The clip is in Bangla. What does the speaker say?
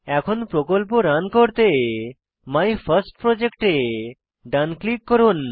এখন প্রকল্প রান করতে মাইফার্স্টপ্রজেক্ট এ ডান ক্লিক করুন